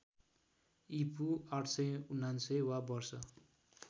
ईपू ८९९ वा वर्ष